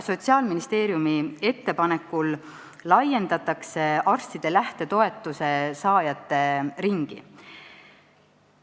Sotsiaalministeeriumi ettepanekul laiendatakse arstide lähtetoetuse saajate ringi.